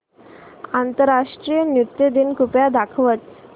आंतरराष्ट्रीय नृत्य दिन कृपया दाखवच